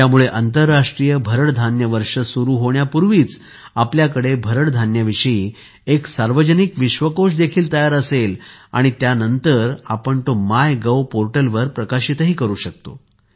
यामुळे आंतरराष्ट्रीय भरड धान्य वर्ष सुरु होण्यापूर्वीच आपल्याकडे भरड धान्याविषयी एक सार्वजनिक विश्वकोश देखील तयार असेल आणि त्यानंतर आपण तो मायगोव पोर्टल वर प्रकाशित करू शकतो